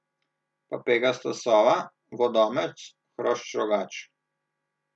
Pa pegasta sova, vodomec, hrošč rogač.